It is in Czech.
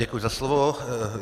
Děkuji za slovo.